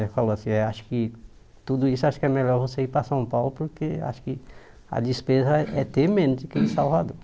Eh falou assim, eh acho que tudo isso acho que é melhor você ir para São Paulo, porque acho que a despesa é é ter menos do que em Salvador.